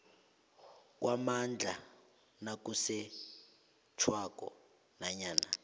kwamandla nakusetjhwako nanyana